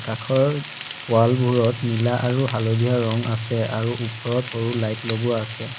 আখৰৰ ৱালবোৰত নীলা আৰু হালধীয়া ৰং আছে আৰু ওপৰত সৰু লাইট লগোৱা আছে।